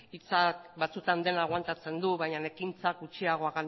hitzak batzutan dena agoantatzen du baina ekintzak gutxiago